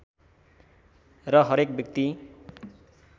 र हरेक व्यक्ति